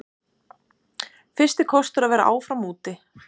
Fyrsti kostur að vera áfram úti